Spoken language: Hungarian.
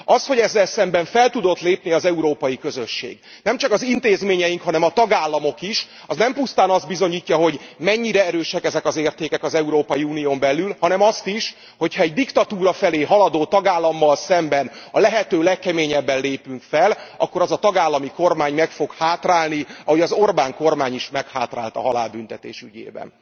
Az hogy ezzel szemben fel tudott lépni az Európai Közösség, nem csak az intézményeink, hanem a tagállamok is, az nem pusztán azt bizonyítja, hogy mennyire erősek ezek az értékek az Európai Unión belül, hanem azt is, hogy ha egy diktatúra felé haladó tagállammal szemben a lehető legkeményebben lépünk fel, akkor az a tagállami kormány meg fog hátrálni, ahogy az Orbán kormány is meghátrált a halálbüntetés ügyében.